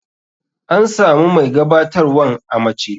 An samu mai gabatarwan a mace.